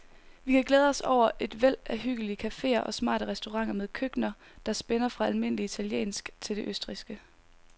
Vi kan glæde os over et væld af hyggelige caféer og smarte restauranter med køkkener, der spænder fra almindelig italiensk til det østrigske.